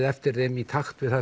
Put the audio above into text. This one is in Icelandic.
eftir þeim í takt við það